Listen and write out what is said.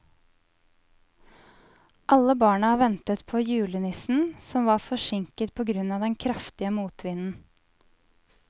Alle barna ventet på julenissen, som var forsinket på grunn av den kraftige motvinden.